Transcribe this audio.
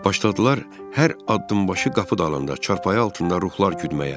Başladılar hər addımbaşı qapı dalında, çarpayı altında ruhlar güdməyə.